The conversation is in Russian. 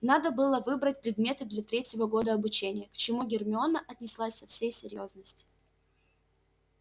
надо было выбрать предметы для третьего года обучения к чему гермиона отнеслась со всей серьёзностью